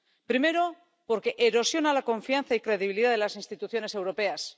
Primero, porque erosiona la confianza y credibilidad de las instituciones europeas.